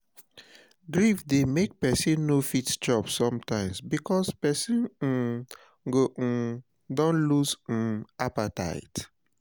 [NOT FOUND]